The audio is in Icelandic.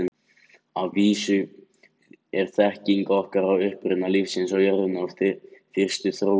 Að vísu er þekking okkar á uppruna lífsins á jörðinni og fyrstu þróun í molum.